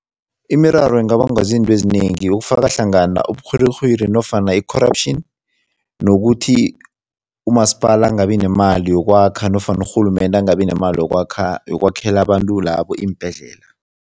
Imiraro ingabangwa zinto ezinengi ukufaka hlangana uburhwirirhwiri nofana i-corruption nokuthi umasipala angabi nemali yokwakha nofana urhulumende angabi nemali yokwakhela abantu labo iimbhedlela.